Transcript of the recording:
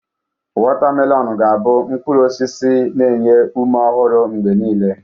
Watamelọn ga abụ mkpụrụ osisi na-enye ume ọhụrụ mgbe niile.